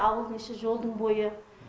ауылдың іші жолдың бойы